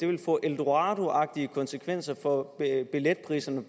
vil få eldoradoagtige konsekvenser for billetpriserne